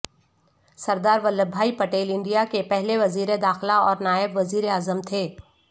سردرا Vallabhbhai Patel India کے پہلے وزیر داخلہ اور نائب وزیر اعظم تھے